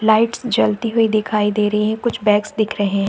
Lights जलती हुई दिखाई दे रही हैं कुछ बैग्स दिख रहे हैं।